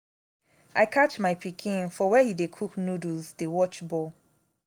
i catch my pikin for where he dey cook noodles dey watch ball